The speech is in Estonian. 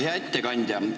Hea ettekandja!